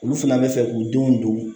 Olu fana bɛ fɛ k'u denw don